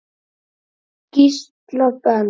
Gísla Ben.